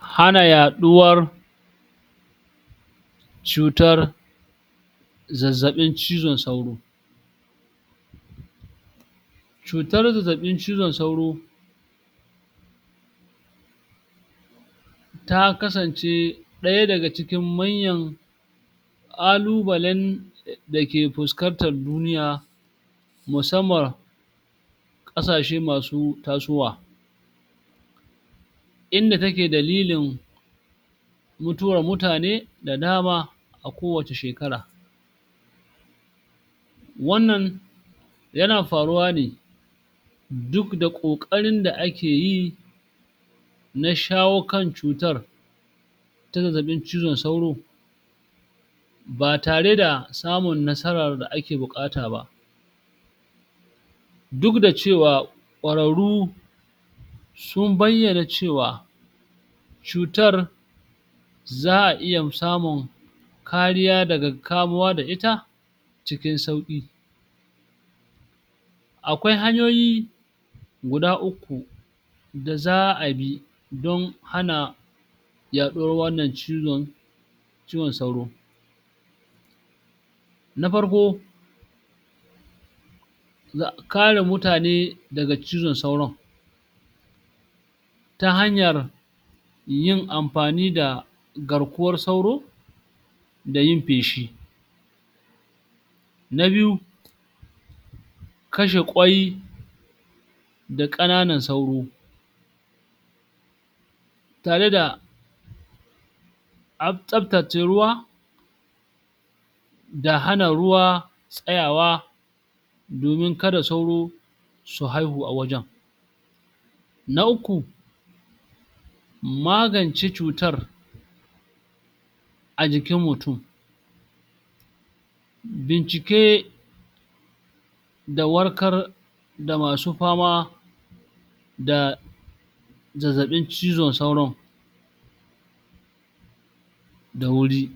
Hana yaɗuwar cutar zazzaɓin cizon sauro. Cutar zazzaɓin cizon sauro ta kasance ɗaya daga cikin manyan ƙalubalen da da ke fuskantan duniya musamman ƙasashe masu tasowa. Inda take dalilin mutuwar mutane da dama a kowace shekara. Wannan ya na faruwa ne duk da ƙokarin da ake yi na shawo kan cutar ta zazzaɓin cizon sauro ba tare da samun nasarar da ake buƙata ba. Duk da cewa ƙwararru sun bayyana cewa cutar za'a iya samun kariya daga kamuwa da ita cikin sauƙi. Akwai hanyoyi guda uku da za'a bi don hana yaɗuwar wannan cizon cizon sauro. Na farko ga kare mutane daga cizon sauron ta hanyar yin amfani da garkuwar sauro da yin feshi. Na biyu kashe ƙwai da ƙanan sauro, tare da a tsaftace ruwa, ga hana ruwa tayawa domin ka da sauro su haihu a wajen. Na uku magance cutar a jikin mutum Bincike da warkar da masu fama da zazzaɓin cizon sauron da wuri.